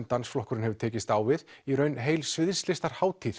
dansflokkurinn hefur tekist á við í raun heil